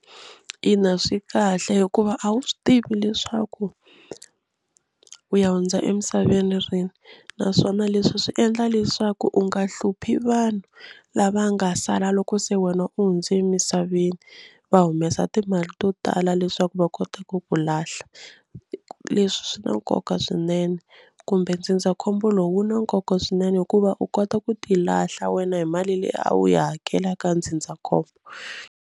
Ina swi kahle hikuva a wu swi tivi leswaku u ya hundza emisaveni rini naswona leswi swi endla leswaku u nga hluphi vanhu lava nga sala loko se wena u hundze emisaveni va humesa timali to tala leswaku va kota ku ku lahla. Leswi swi na nkoka swinene kumbe ndzindzakhombo lowu wu na nkoka swinene hikuva u kota ku tilahla wena hi mali leyi a wu yi hakela ka ndzindzakhombo.